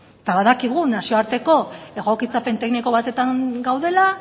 eta badakigu nazioarteko egokitzapen tekniko batetan gaudela